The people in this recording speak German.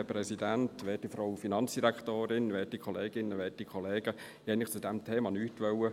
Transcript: Ich wollte eigentlich zu diesem Thema nichts sagen.